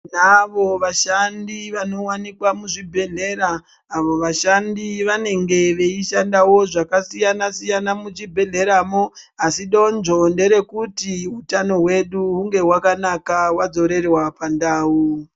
Tinavo vashandi vanowanikwa muzvibhedhlera avo vashandi vanenge vachishanda zvakasiyana-siyana muchibhedhleramwo, asi donzvo nderekuti utano hwedu hunge hwakanaka hwadzorerwa pandau.